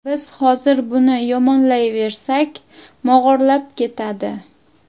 Biz hozir buni yomonlayversak, mog‘orlab ketadi.